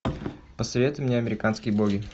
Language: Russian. посоветуй мне американские боги